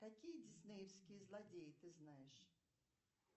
какие диснеевские злодеи ты знаешь